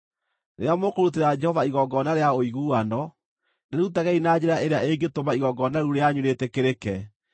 “ ‘Rĩrĩa mũkũrutĩra Jehova igongona rĩa ũiguano, rĩrutagei na njĩra ĩrĩa ĩngĩtũma igongona rĩu rĩanyu rĩĩtĩkĩrĩke.